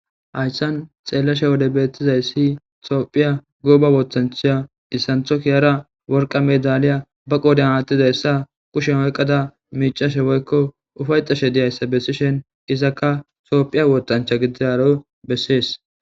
hayssan xeellashe wode beettizaysi toophiya goba wootancha issantho kiyara worqa medaliya ba qoodan aattizayssa kushen oyqada miicashe woykko ufayxashe diyayssa bessishen izaka toophiya wootancha gididaro bessees